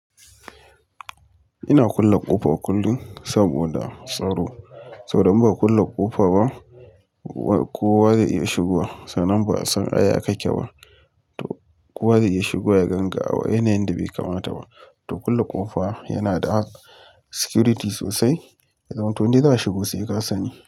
Ina kulle ƙofa kullum saboda tsaro. Saboda in ba a kulle ƙofa ba, kowa zai iya shigowa. Sanan ba a san aya ka ke ba, to kowa zai iya shigo ya ganga. A wa yanayin da bai kamata ba. To kulle ƙofa yana da security sosai. Zamanto ni za a shigo sai ka sani.